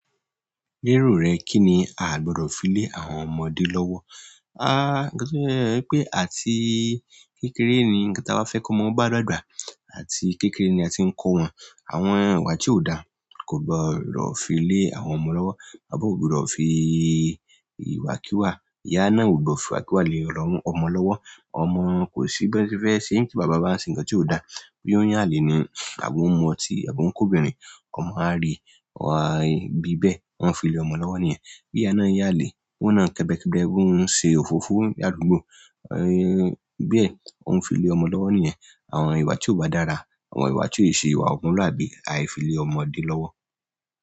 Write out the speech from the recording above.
Lero rẹ̀, kí ni a gbọ́dọ̀ fi lé àwọn ọmọdé lọ́wọ́? Ah, ńkan tó séle ni pé àti kékeré ni nkan ta bá fẹ́ kó ọmọ o bá dàgbà. Àti kékeré ni a ti ń kó wọn. Àwọn ìwà tí ó dára kò gbọ́dọ̀ fi lé àwọn ọmọ lọ́wọ́. Bàbá ò gbọ́dọ̀ fi ìwà kí wà, ìyá náà ò gbọ́dọ̀ fi ìwákiwa lé ọmọ lọ́wọ́. Ọmọ kò sí bẹ́ẹ̀ tí fẹ́ ṣe tí bàbá bá ń ṣe ńǹkan tí ó dára. Bí ò yan yálè ni àbí omu ọtí àbí o ń kòbìnrin, ọmọ á rí i bí bẹ́ẹ̀, ó ń fi lé ọmọ lọ́wọ́ ni yẹ̀n. Bi iya náà yale, ohun na kebe-kebe, pe ohun yo se ofofo ladugbo, bẹ́ẹ̀, ohun fi le ọmọ lowo ni yen. Àwọn ìwà tí ó bá dára, àwọn ìwà tí ó è ṣe ìwà ọmọlúàbí á fi lé ọmọdé lọ́wọ́.